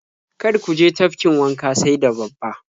Kar ku je tafkin wanka sai da babba.